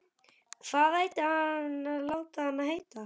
Hvað ætti hann að láta hann heita?